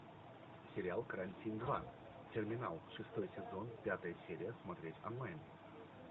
сериал карантин два терминал шестой сезон пятая серия смотреть онлайн